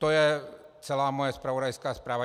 To je celá moje zpravodajská zpráva.